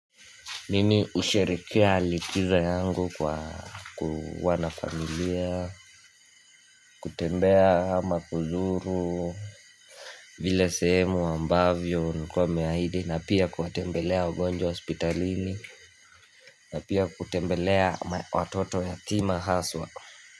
Mimi husherekea likizo yangu kwa kuwa na familia kutembea ama kuzuru vile sehemu ambavyo ulikuwa umeahidi na pia kuwatembelea wagonjwa hospitalini na pia kutembelea watoto yatima haswa.